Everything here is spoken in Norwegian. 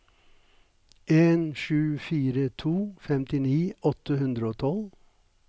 en sju fire to femtini åtte hundre og tolv